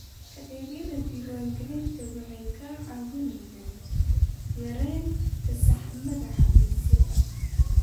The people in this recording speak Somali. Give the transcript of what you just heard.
Adeegyada diwaangelintu waxay kaa caawinayaan yaraynta saxmadda xafiisyada.